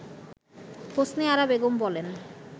হোসনে আরা বেগম বলেন